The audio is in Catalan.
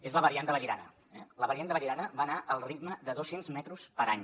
és la variant de vallirana eh la variant de vallirana va anar el ritme de dos cents metres per any